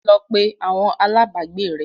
Lọ pé àwọn alágbàágbé rẹ l!